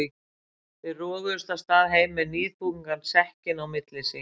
Þeir roguðust af stað heim með níðþungan sekkinn á milli sín.